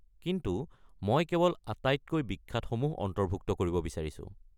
কিন্তু, মই কেৱল আটাইতকৈ বিখ্যাতসমূহ অন্তৰ্ভুক্ত কৰিব বিচাৰিছো।